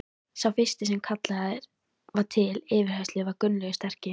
Sá fyrsti sem kallaður var til yfirheyrslu var Gunnlaugur sterki.